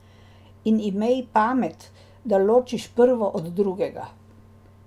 In imej pamet, da ločiš prvo od drugega.